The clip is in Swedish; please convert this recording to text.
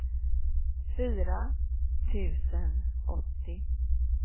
fyra tusen åttio